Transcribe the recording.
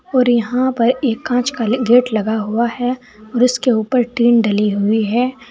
और यहां पर एक कांच का गेट लगा हुआ है और इसके ऊपर टीन डली हुई है।